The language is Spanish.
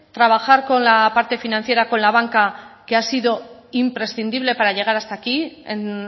trabajar con la parte financiera con la banca que ha sido imprescindible para llegar hasta aquí en